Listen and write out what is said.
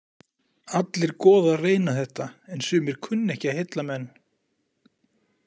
Allir goðar reyna þetta en sumir kunna ekki að heilla menn.